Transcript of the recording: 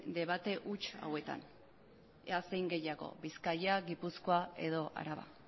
debate huts hauetan ea zein gehiago bizkaia gipuzkoa edo araba